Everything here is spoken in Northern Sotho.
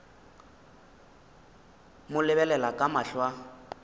mo lebelela ka mahlo a